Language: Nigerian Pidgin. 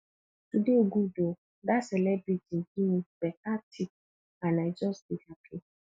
today good oo dat celebrity give me beta tip and i just dey happy